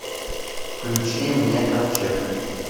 включи мне ковчег